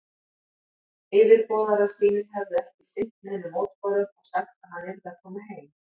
Yfirboðarar sínir hefðu ekki sinnt neinum mótbárum og sagt, að hann yrði að koma heim.